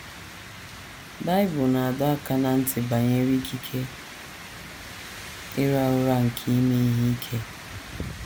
Bible na - adọ aka ná ntị banyere ikike ịra ụrà nke ime ihe ike.